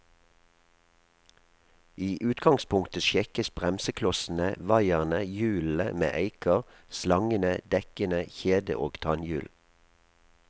I utgangspunktet sjekkes bremseklossene, vaierne, hjulene med eiker, slangene, dekkene, kjede og tannhjul.